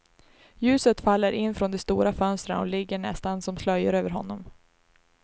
Ljuset faller in från de stora fönstrena och ligger nästan som slöjor över honom.